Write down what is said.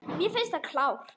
Mér finnst hann klár.